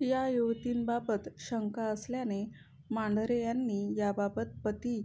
या युवतींबाबत शंका आल्याने मांढरे यांनी याबाबत पती